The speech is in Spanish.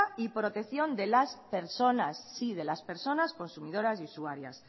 y protección de las personas sí de las personas consumidoras y usuarias